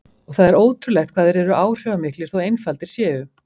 Og það er ótrúlegt hvað þeir eru áhrifamiklir þó einfaldir séu.